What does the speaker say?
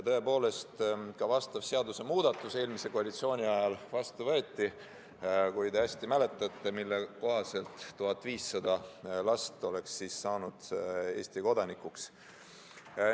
Tõepoolest, eelmise koalitsiooni ajal võeti vastu seadusemuudatus, kui te mäletate, mille kohaselt oleks pidanud 1500 last saama Eesti kodanikuks.